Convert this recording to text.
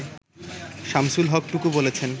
শামসুল হক টুকু বলেছেন